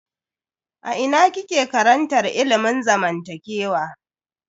A ina kike karantar ilimin zamantakewa?